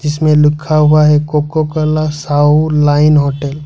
इसमें लिखा हुआ है Coca Cola Sahu line hotel.